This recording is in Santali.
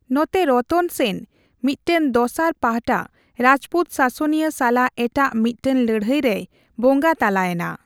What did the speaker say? ᱱᱚᱛᱮ ᱨᱚᱛᱚᱱ ᱥᱮᱱ ᱢᱤᱫᱴᱟᱝ ᱫᱚᱥᱟᱨ ᱯᱟᱦᱴᱟ ᱨᱟᱡᱯᱩᱛ ᱥᱟᱥᱚᱱᱤᱭᱟᱹ ᱥᱟᱞᱟᱜ ᱮᱴᱟᱜ ᱢᱤᱫᱴᱟᱜ ᱞᱟᱹᱲᱦᱟᱹᱭ ᱨᱮᱭ ᱵᱚᱸᱜᱟ ᱛᱟᱞᱟᱭᱮᱱᱟ ᱾